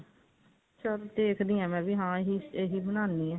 ਚੱਲ ਦੇਖਦੀ ਹਾਂ ਮੈਂ ਵੀ ਹਾਂ ਇਹੀ ਬਨਾਨੀ ਹਾਂ